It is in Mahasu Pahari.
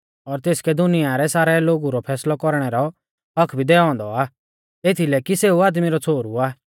और तेसकै दुनिया रै सारै लोगु रौ फैसलै कौरणै रौ हक्क्क भी दैऔ औन्दौ आ एथीलै कि सेऊ आदमी रौ छ़ोहरु आ